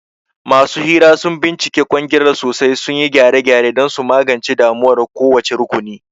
Masu hira sun bincika kwangilar sosai, sun yi gyare-gyare don su magance damuwar kowace rukuni.